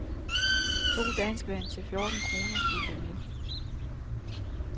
To danskvand til fjorten kroner fulgte med.